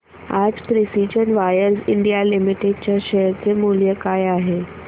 आज Precision Wires India Limited च्या share चे मूल्य काय आहे